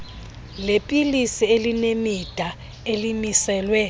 leepilisi elinemida elimiselwe